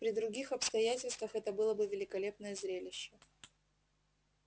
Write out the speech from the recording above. при других обстоятельствах это было бы великолепное зрелище